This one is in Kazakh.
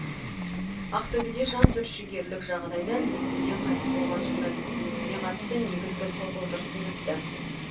ақтөбеде жантүршігерлік жағдайда лифтіде қайтыс болған журналистің ісіне қатысты негізгі сот отырысы өтті